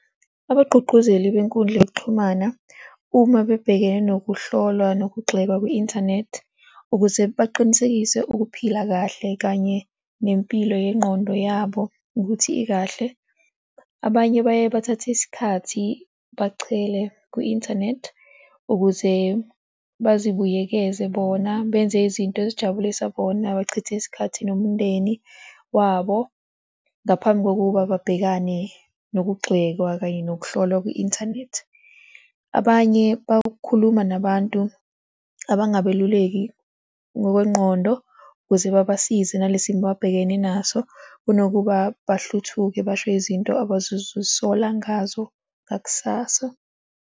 Abagqugquzeli benkundla yokuxhumana uma bebhekene nokuhlolwa nokugxekwa kwe-inthanethi ukuze baqinisekise ukuphila kahle kanye nempilo yengqondo yabo ukuthi ikahle. Abanye baye bathathe isikhathi bachele kwi-inthanethi ukuze bazi buyekeze bona, benze izinto ezijabulisa bona, bachithe isikhathi nomndeni wabo ngaphambi kokuba babhekane nokugxekwa kanye nokuhlolwa kwi-inthanethi. Abanye bakhuluma nabantu abangabeluleki ngokwengqondo ukuze babasize nale simo ababhekene naso kunokuba bahluthuke basho izinto abazozisola ngazo ngakusasa.